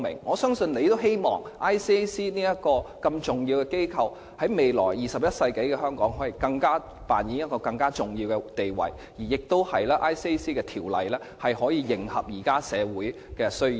我相信特首也希望 ICAC 這個重要機構在未來21世紀的香港，可以扮演更重要的地位，而《廉政公署條例》亦可以迎合現時的社會需要。